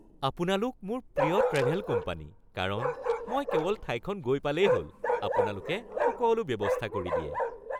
আপোনালোক মোৰ প্ৰিয় ট্ৰেভেল কোম্পানী কাৰণ মই কেৱল ঠাইখন গৈ পালেই হ'ল, আপোনালোকে সকলো ব্যৱস্থা কৰি দিয়ে